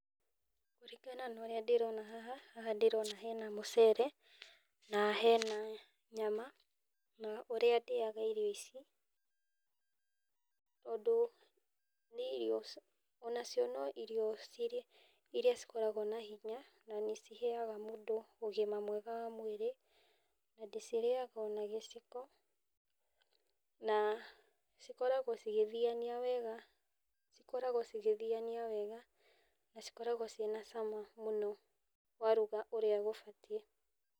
Kũringana na ũrĩa ndĩrona haha, haha ndĩrona hena mũcere na hena nyama, na ũrĩa ndĩaga irio ici, ũndũ nĩ irio, ona cio no irio cirĩ iria cĩkoragwo na hinya na nĩ ciheaga mũndũ ũgima mwega wa mwĩrĩ, na ndĩcirĩaga ona gĩciko na cikoragwo cigĩthiania wega, ikoragwo cigĩthiania wega, na cikoragwo cina cama mũno waruga ũrĩa gũbatiĩ.